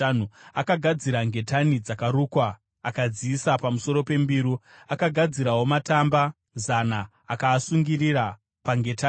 Akagadzira ngetani dzakarukwa akadziisa pamusoro pembiru. Akagadzirawo matamba zana akaasungirira pangetani.